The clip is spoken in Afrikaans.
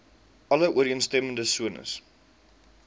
alle ooreenstemmende sones